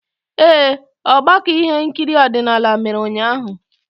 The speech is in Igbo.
Ee, ọgbakọ ihe nkiri odinala mere ụnyaahụ.